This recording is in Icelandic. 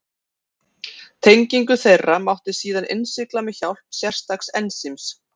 Tengingu þeirra mátti síðan innsigla með hjálp sérstaks ensíms.